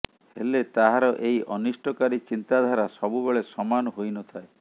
ହେଲେ ତାହାର ଏହି ଅନିଷ୍ଟକାରୀ ଚିନ୍ତାଧାରା ସବୁବେଳେ ସମାନ ହୋଇନଥାଏ